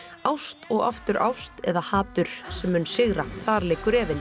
ást og aftur ást eða hatur sem mun sigra þar liggur efinn